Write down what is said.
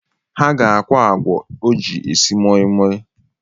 Ha ga-akwọ agwọ o ji esi moimoi